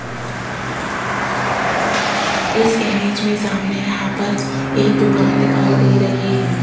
इस इमेज में सामने यहां पर एक दुकान दिखाई दे रही है।